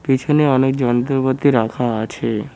পিছনে অনেক যন্ত্রপাতি রাখা আছে।